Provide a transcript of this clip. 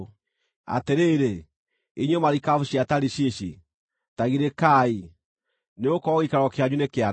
Atĩrĩrĩ, inyuĩ marikabu cia Tarishishi, ta girĩkai; nĩgũkorwo gĩikaro kĩanyu nĩkĩanange.